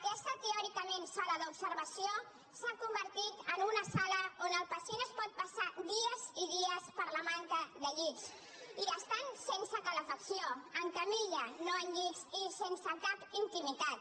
aquesta teòricament sala d’observació s’ha convertit en una sala on el pacient es pot passar dies i dies per la manca de llits i estan sense calefacció en lliteres no en llits i sense cap intimitat